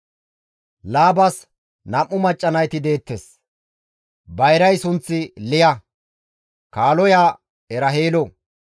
Laabas nam7u macca nayti deettes; bayray sunththi Liya, kaaloya Eraheelo.